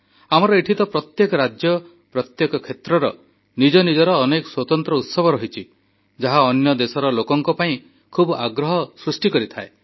ଆମର ଏଠି ତ ପ୍ରତ୍ୟେକ ରାଜ୍ୟ ପ୍ରତ୍ୟେକ କ୍ଷେତ୍ରର ସ୍ୱତନ୍ତ୍ର ଉତ୍ସବ ରହିଛି ଯାହା ଅନ୍ୟ ଦେଶର ଲୋକଙ୍କ ପାଇଁ ଖୁବ୍ ଆଗ୍ରହ ସୃଷ୍ଟି କରିଥାଏ